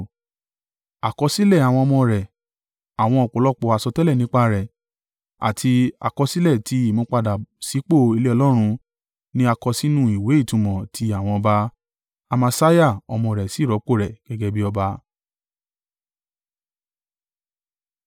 Àkọsílẹ̀ àwọn ọmọ rẹ̀, àwọn ọ̀pọ̀lọpọ̀ àsọtẹ́lẹ̀ nípa rẹ̀, àti àkọsílẹ̀ ti ìmúpadà sípò ilé Ọlọ́run ní a kọ sínú ìwé ìtumọ̀ ti àwọn ọba. Amasiah ọmọ rẹ̀ sì rọ́pò rẹ̀ gẹ́gẹ́ bí ọba.